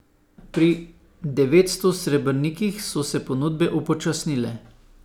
Pri devetsto srebrnikih so se ponudbe upočasnile.